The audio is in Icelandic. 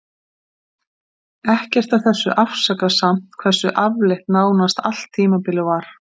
Ekkert af þessu afsakar samt hversu afleitt nánast allt tímabilið var.